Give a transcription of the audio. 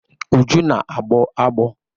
Uju,a na-agbọ agbọ